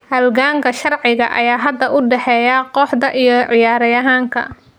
Halganka sharciga ayaa hadda u dhexeeya kooxda iyo ciyaaryahanka.